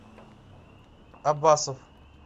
абасов